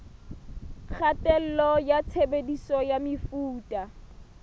kgatello ya tshebediso ya mefuta